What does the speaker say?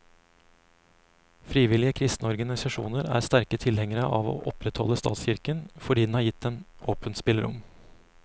Frivillige kristne organisasjoner er sterke tilhengere av å opprettholde statskirken, fordi den har gitt dem åpent spillerom.